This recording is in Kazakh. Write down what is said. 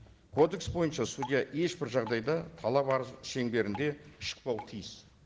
кодекс бойынша судья ешбір жағдайда талап арыз шеңберінде шықпауы тиіс